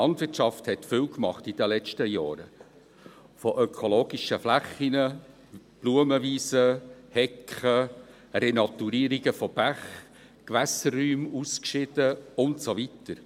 Die Landwirtschaft hat viel gemacht in den letzten Jahren: von ökologischen Flächen, Blumenwiesen, Hecken, Renaturierungen von Bächen, Gewässerräume ausgeschieden und so weiter.